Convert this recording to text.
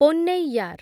Ponnaiyar